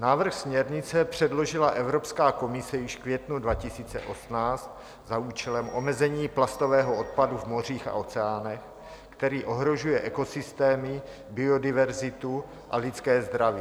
Návrh směrnice předložila Evropská komise již v květnu 2018 za účelem omezení plastového odpadu v mořích a oceánech, který ohrožuje ekosystémy, biodiverzitu a lidské zdraví.